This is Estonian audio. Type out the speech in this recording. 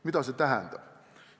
Mida see tähendab?